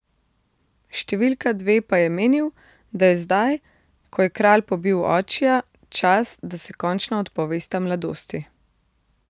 Številka dve pa je menil, da je zdaj, ko je kralj pobil očija, čas, da se končno odpovesta mladosti.